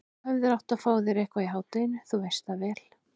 Þú hefðir átt að fá þér eitthvað í hádeginu, þú veist það vel.